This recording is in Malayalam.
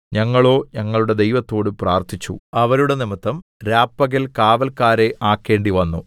ഞങ്ങളോ ഞങ്ങളുടെ ദൈവത്തോട് പ്രാർത്ഥിച്ചു അവരുടെ നിമിത്തം രാപ്പകൽ കാവല്ക്കാരെ ആക്കേണ്ടിവന്നു